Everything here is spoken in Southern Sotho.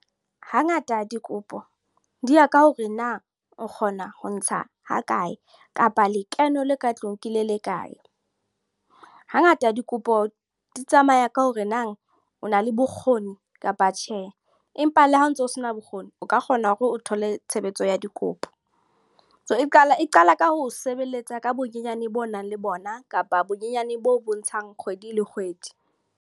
Ha ngata dikopo, di ya ka hore na nka kgona ho ntsha ha kae. Kapa lekeno le ka tlung ke le lekae. Ha ngata dikopo di tsamaya ka hore nang, o na le bokgoni kapa tjhe. Empa le ha o ntso sena bokgoni, o ka kgona hore o thole tshebetso ya dikopo. E qala, e qala ka ho sebeletsa ka bonyenyane bo nang le bona. Kapa bonyenyane bo bontshang kgwedi le kgwedi.